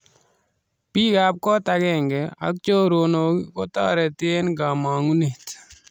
Biik ab koot agenge ak choronok kotariti eng kamangunet